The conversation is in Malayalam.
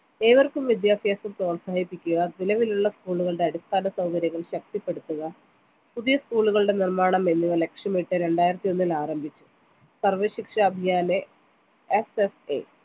ഏവർക്കും വിദ്യാഭ്യാസം പ്രോത്സാഹിപ്പിക്കുക നിലവിലുള്ള school കളുടെ അടിസ്ഥാന സൗകര്യങ്ങൾ ശക്തിപ്പെടുത്തുക പുതിയ school ഉകളുടെ നിർമാണം എന്നിവ ലക്ഷ്യമിട്ട് രണ്ടായിരത്തി ഒന്നിൽ ആരംഭിച്ചു സർവശിക്ഷാ അഭിയാനെ SSA